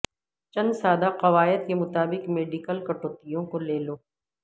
چند سادہ قواعد کے مطابق میڈیکل کٹوتیوں کو لے لو